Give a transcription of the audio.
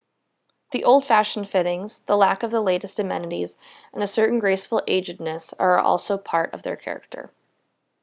the old fashioned fittings the lack of the latest amenities and a certain graceful agedness are also part of their character